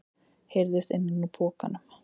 heyrðist innan úr pokanum.